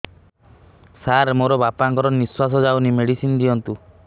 ସାର ମୋର ବାପା ଙ୍କର ନିଃଶ୍ବାସ ଯାଉନି ମେଡିସିନ ଦିଅନ୍ତୁ